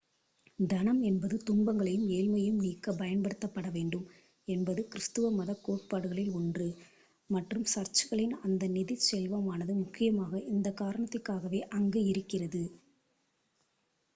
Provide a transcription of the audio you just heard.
தனம் என்பது துன்பங்களையும் ஏழ்மையையும் நீக்கப் பயன்படுத்தப் படவேண்டும் என்பது கிருஸ்துவ மதக் கோட்பாடுகளில் ஒன்று1 மற்றும் சர்ச்களின் அந்த நிதிச் செல்வமானது முக்கியமாக இந்தக் காரணத்திற்காகவே அங்கு இருக்கிறது